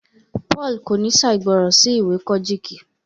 Paul kò ní ṣàìgbọràn sí ìwé Kojiki